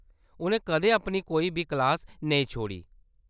उʼनें कदें अपनी कोई बी क्लास नेईं छोड़ी।